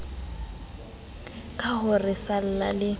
ka ho re salla le